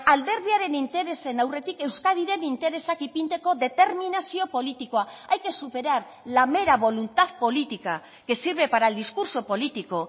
alderdiaren interesen aurretik euskadiren interesak ipintzeko determinazio politikoa hay que superar la mera voluntad política que sirve para el discurso político